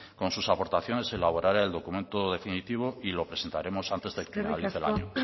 con sus aportaciones se elaborará el documento definitivo y los presentaremos antes de que finalice el año